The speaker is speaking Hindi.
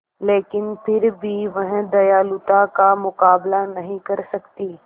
लेकिन फिर भी वह दयालुता का मुकाबला नहीं कर सकती